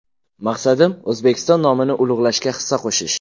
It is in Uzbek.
Maqsadim O‘zbekiston nomini ulug‘lashga hissa qo‘shish.